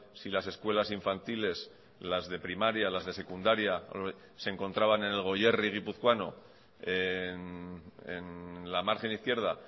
si las escuelas infantiles las de primaria las de secundaria se encontraban en el goierri guipuzcoano en la margen izquierda